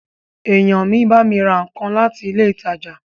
Èèyàn mi bámi ra nǹkan láti ilé ìtajà